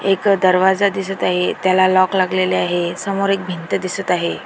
एक दरवाजा दिसत आहे त्याला लॉक लागलेले आहे समोर एक भिंत दिसत आहे.